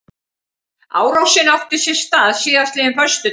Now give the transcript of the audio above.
Árásin átti sér stað síðastliðinn föstudag